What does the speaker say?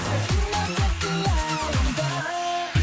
қалдың ба тек қиялымда